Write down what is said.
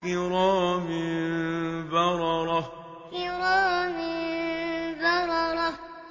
كِرَامٍ بَرَرَةٍ كِرَامٍ بَرَرَةٍ